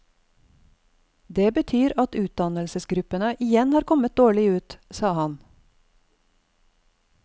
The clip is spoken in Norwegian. Det betyr at utdannelsesgruppene igjen kommer dårlig ut, sa han.